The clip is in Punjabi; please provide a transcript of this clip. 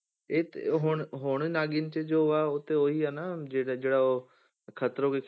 ਇਹ ਤੇ ਹੁਣ ਹੁਣ ਨਾਗਿਨ 'ਚ ਜੋ ਆ ਉਹੀ ਤੇ ਉਹੀ ਨਾ ਜਿਹੜਾ ਜਿਹੜਾ ਉਹ ਖਤਰੋਂ ਕੇ